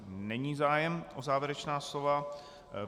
Není zájem o závěrečná slova.